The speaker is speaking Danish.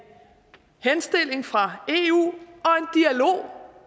henstilling fra eu